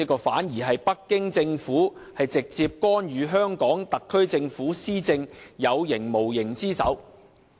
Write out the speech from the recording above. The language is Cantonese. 反而，這是北京政府直接干預香港特區政府施政的有形無形之手。